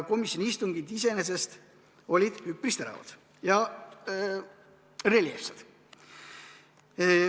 Komisjoni istungid iseenesest olid üpris teravad ja reljeefsed.